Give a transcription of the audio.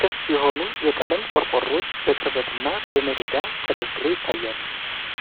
ክፍት የሆኑ የቀለም ቆርቆሮዎች በቅርበትና በመደዳ ተደርድረው ይታያሉ።